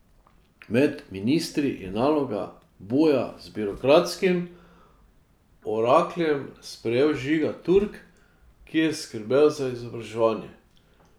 Med ministri je nalogo boja z birokratskim orakljem sprejel Žiga Turk, ki je skrbel za izobraževanje.